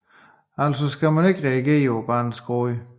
Altså skal man ikke reagere på barnets gråd